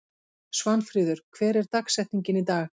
Svanfríður, hver er dagsetningin í dag?